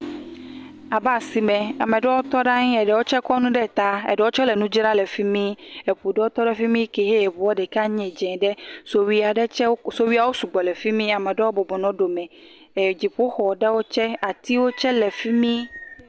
Abe asime, ame aɖewo tɔ ɖe anyi, eɖewo tse kɔ nu ɖe eta, eɖewo tse le nu dzram le fimi. Eŋu ɖewo tse wotɔ ɖe fimi, ke he eŋua ɖeka le dzɛ ɖe. Sowuiwo tsɛ. Sowuiwo sugbɔ le fimi. Ame aɖewo bɔbɔ nɔ anyi ɖe sowui ɖome. Dziƒo xɔ ɖewo tsɛ, atiwo tsɛ le fimi